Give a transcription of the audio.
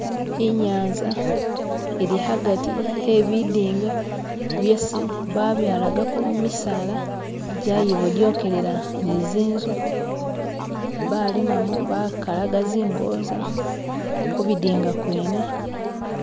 inyanza ili hagati hebidinga yesi babyalagako misaala jyayibodyokelela nizinzu balimamu bakalamu zinkoza kubidinga kwene